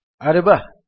ଆରେ ବାଃ